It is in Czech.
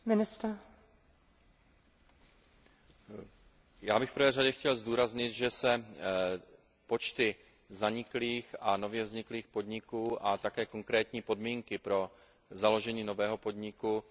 Já bych v prvé řadě chtěl zdůraznit, že se počty zaniklých a nově vzniklých podniků a také konkrétní podmínky pro založení nového podniku velmi liší v jednotlivých členských státech EU.